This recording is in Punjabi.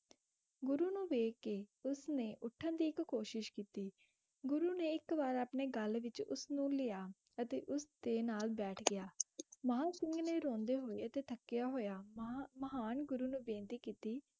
ਗੁਰੂ ਨੂੰ ਵੇਖ ਕੇ, ਉਸ ਨੇ ਉੱਠਣ ਦੀ ਇੱਕ ਕੋਸ਼ਿਸ਼ ਕੀਤੀ, ਗੁਰੂ ਨੇ ਇੱਕ ਵਾਰ ਆਪਣੇ ਗਲ ਵਿੱਚ ਉਸਨੂੰ ਲਿਆ, ਅਤੇ ਉਸਦੇ ਨਾਲ ਬੈਠ ਗਿਆ ਮਹਾਂ ਸਿੰਘ ਨੇ ਰੋਂਦੇ ਹੋਏ ਅਤੇ ਥੱਕਿਆ ਹੋਇਆ, ਮਹਾ~ ਮਹਾਨ ਗੁਰੂ ਨੂੰ ਬੇਨਤੀ ਕੀਤੀ